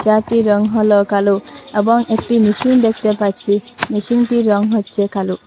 চেয়ারটির রং হল কালো এবং একটি মেশিন দেখতে পাচ্ছি মেশিনটির রং হচ্ছে কালো।